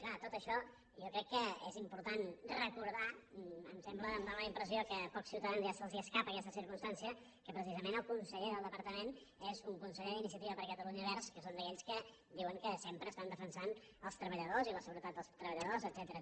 clar tot això jo crec que és important recordar em sembla em dóna la impressió que a pocs ciutadans ja se’ls escapa aquesta circumstància que precisament el conseller del departament és un conseller d’iniciativa per catalunya verds que són d’aquells que sempre estan defensant els treballadors i la seguretat dels treballadors etcètera